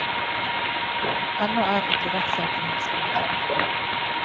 Ennå er ikke rettssaken hans kommet opp.